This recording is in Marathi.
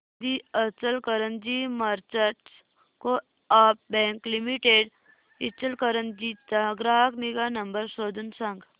दि Ichalkaranji merchants co-op bank limited Ichalkaranji चा ग्राहक निगा नंबर शोधून सांग